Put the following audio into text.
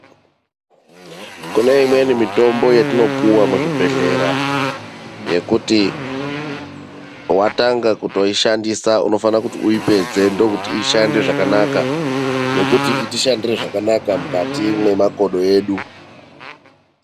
Kune imweni mitombo yatinopiwa muzvibhedhlera ,yekuti watanga kutoishandisa unofana kuti uipedze ndokuti ishande zvakanaka nekuti iti shandire zvakanaka mukati memakodo edu.